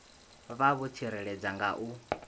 vha vho tsireledzea nga u